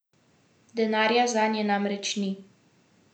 Denarja zanje namreč ni.